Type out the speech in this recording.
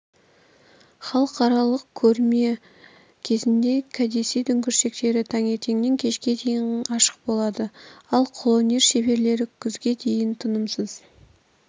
халықаралық көрме кезінде кәдесый дүңгіршектері таңертеңнен кешке дейін ашық болады ал қолөнер шеберлері күзге дейін тынымсыз